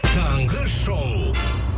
таңғы шоу